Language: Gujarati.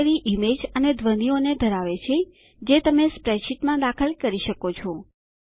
ગેલેરી ઈમેજ અને ધ્વનીઓ ધરાવે છે જે તમે સ્પ્રેડશીટમાં દાખલ કરી શકો છો